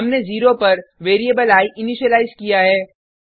हमने 0पर variable I initialise किया है